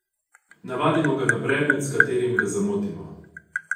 Navadimo ga na predmet, s katerim ga zamotimo.